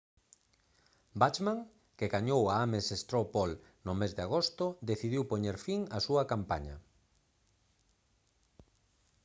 bachmann que gañou a ames straw poll no mes de agosto decidiu poñer fin á súa campaña